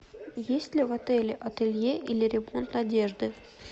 есть ли в отеле ателье или ремонт одежды